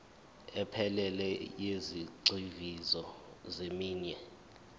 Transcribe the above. ephelele yezigxivizo zeminwe